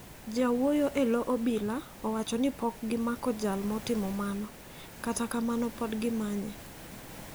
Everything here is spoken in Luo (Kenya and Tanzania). Jawuoyo e lo obila owacho ni pok gimako jal motimo mano, kata kamano podi gimanye.